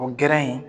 O gɛrɛ in